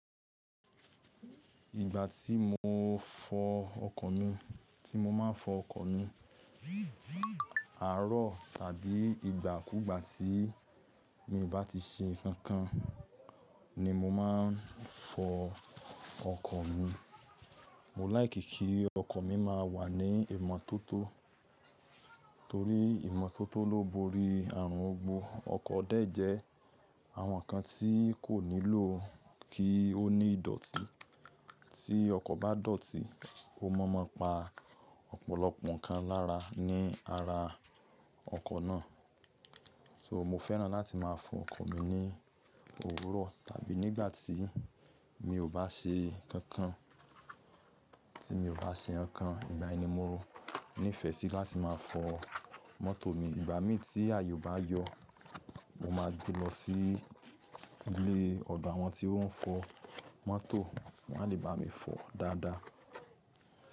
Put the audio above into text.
Ìgbà tí mo fọ ọkọ̀ mi, tí mo máa ń fọ ọkọ̀ mi, àárọ̀ tàbí ìgbà kúgbà tí mi bá ti ṣe nǹkan kan ni mo máa ń fọ ọkọ̀ mi. Mo láìkí kí ọkọ̀ mi má wà ní ìmọ́tótó torí ìmọ́tótó ló borí ààrùn ogbó. Ọkọ̀ dẹ́ẹ́ jẹ àwọn nǹkan tí kò nílò kí ó ní ìdọ̀tí. Tí ọkọ̀ bá dọ̀tí, ó mọ́mọ́ pa ọ̀pọ̀lọpọ̀ nǹkan lára ní ara ọkọ̀ náà. So mo fẹ́ràn láti máa fọ ọkọ̀ mi ní òwúrọ̀ tàbí nígbà tí mi ò bá ṣe nǹkan kan, tí mi ò bá ṣe nǹkan kan, ìgbà ẹni móo. Ní fẹ́ sì láti máa fọ mọ́tò mi. Ìgbà mí tí àye o bá yọ, mo máa gbé lọ sí ilé ọdo àwọn tí ọ́n ń fọ. Mọ́tò, wọ́n a lè bá mi fọ dáadáa.